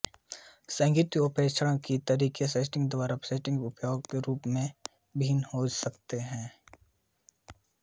सहभागिता और प्रेक्षण के तरीक़े सेटिंग दर सेटिंग व्यापक रूप से भिन्न हो सकते हैं